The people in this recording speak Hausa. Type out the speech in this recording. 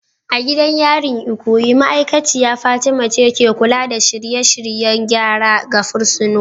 A gidan yarin Ikoyi, ma'aikaciya Fatima ce ke kula da shirye-shiryen gyara ga fursunonin.